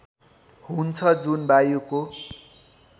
हुन्छ जुन वायुको